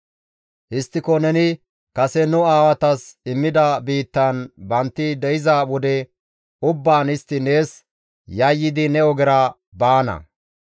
Histtiko neni kase nu aawatas immida biittan bantti de7iza wode ubbaan istti nees yayyidi ne ogera baana.